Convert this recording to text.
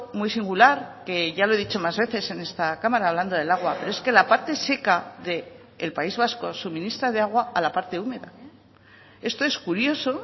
muy singular que ya lo he dicho más veces en esta cámara hablando del agua pero es que la parte seca del país vasco suministra de agua a la parte húmeda esto es curioso